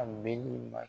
A bɛ ni ma